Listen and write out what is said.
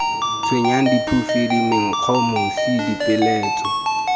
tshwenyang diphufudi menkgo mosi dipeeletso